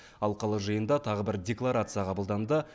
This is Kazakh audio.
алқалы жиында тағы бір декларация қабылданды